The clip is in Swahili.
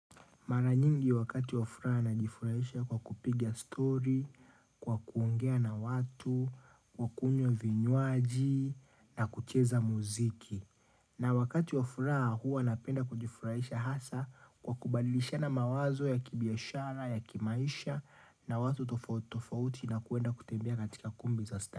Mara nyingi wakati wa furaha najifurahisha kwa kupiga story, kwa kuongea na watu, kwa kunywa vinywaji na kucheza muziki. Na wakati wa furaha huwa napenda kujifurahisha hasa kwa kubadilishana mawazo ya kibiashara, ya kimaisha na watu tofauti tofauti na kuenda kutembea katika kumbi za sta.